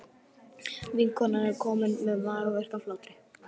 Vinkonan er komin með magaverk af hlátri.